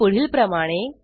ते पुढीलप्रमाणे